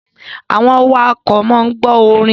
Àwọn awakọ̀ máa ń gbọ orin.